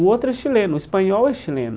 O outro é chileno, o espanhol é chileno.